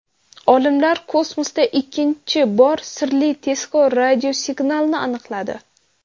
Olimlar kosmosda ikkinchi bor sirli tezkor radiosignalni aniqladi.